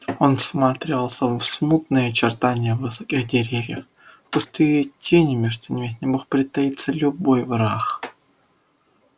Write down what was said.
он всматривался в смутные очертания высоких деревьев в густые тени между ними где мог притаиться любой враг